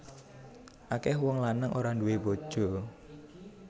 Akeh wong lanang ora duwé bojo